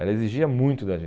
Ela exigia muito da